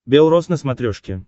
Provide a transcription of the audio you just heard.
бел роз на смотрешке